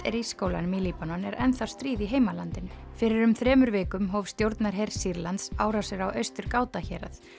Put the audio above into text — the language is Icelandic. er í skólanum í Líbanon er ennþá stríð í heimalandinu fyrir um þremur vikum hóf stjórnarher Sýrlands árásir á Austur Ghouta hérað